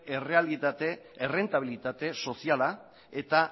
errentabilitate soziala eta